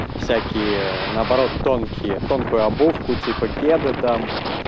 всякие наоборот тонкие тонкую обувку типа кеды там